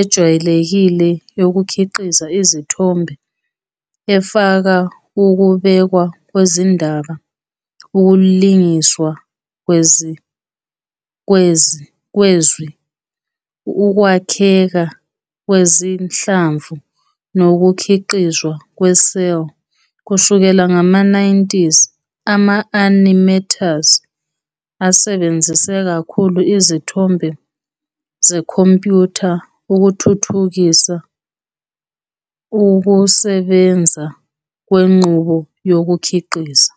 ejwayelekile yokukhiqiza izithombe, efaka ukubekwa kwezindaba, ukulingiswa kwezwi, ukwakheka kwezinhlamvu nokukhiqizwa kwe-cel. Kusukela ngama-1990s, ama-animators asebenzise kakhulu izithombe zekhompyutha ukuthuthukisa ukusebenza kwenqubo yokukhiqiza.